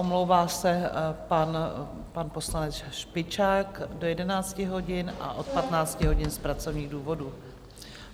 Omlouvá se pan poslanec Špičák do 11 hodin a od 15 hodin z pracovních důvodů.